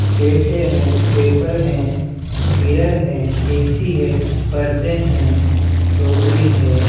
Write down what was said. प्लेटे हैं पेपर है मिरर है ऐ_सी है पर्दें है टोकरी है।